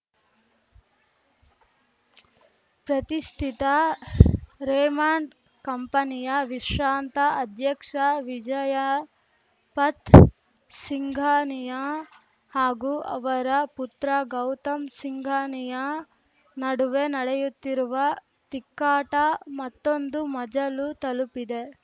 ಪ್ರತಿಷ್ಠಿತ ರೇಮಂಡ್‌ ಕಂಪನಿಯ ವಿಶ್ರಾಂತ ಅಧ್ಯಕ್ಷ ವಿಜಯಪಥ್‌ ಸಿಂಘಾನಿಯಾ ಹಾಗೂ ಅವರ ಪುತ್ರ ಗೌತಮ್‌ ಸಿಂಘಾನಿಯಾ ನಡುವೆ ನಡೆಯುತ್ತಿರುವ ತಿಕ್ಕಾಟ ಮತ್ತೊಂದು ಮಜಲು ತಲುಪಿದೆ